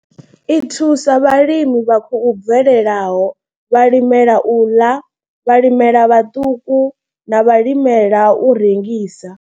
I thusa vhalimi vha khou bvelelaho, vhalimela u ḽa, vhalimi vhaṱuku na vhalimela u rengisa.